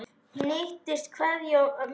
HINSTA KVEÐJA Amma mín.